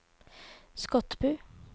Skotbu